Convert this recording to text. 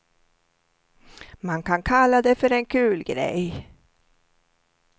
Man kan kalla det för en kul grej.